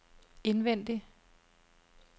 indvendig